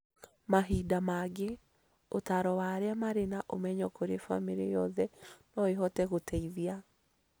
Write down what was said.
Mahinda mangĩ, ũtaaro wa arĩa marĩ na ũmenyo kũrĩ bamĩrĩ yothe no ĩhote gũteithia